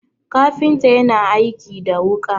kafinta yana aiki da wuka